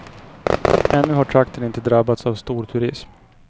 Ännu har trakten inte drabbats av storturism.